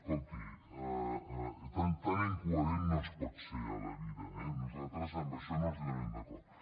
escolti tan incoherent no es pot ser a la vida eh nosaltres en això no els donarem suport